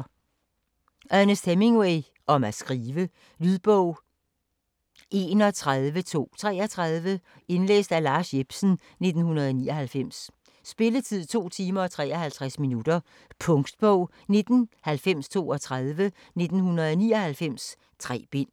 Hemingway, Ernest: Om at skrive Lydbog 31233 Indlæst af Lars Jepsen, 1999. Spilletid: 2 timer, 53 minutter. Punktbog 199032 1999. 3 bind.